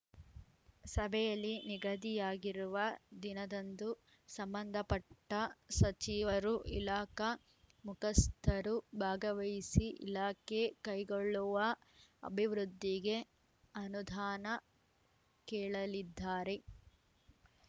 ಸಭೆಯಲ್ಲಿ ನಿಗದಿಯಾಗಿರುವ ದಿನದಂದು ಸಂಬಂಧಪಟ್ಟಸಚಿವರು ಇಲಾಖಾ ಮುಖಸ್ಥರು ಭಾಗವಹಿಸಿ ಇಲಾಖೆ ಕೈಗೊಳ್ಳುವ ಅಭಿವೃದ್ಧಿಗೆ ಅನುದಾನ ಕೇಳಲಿದ್ದಾರೆ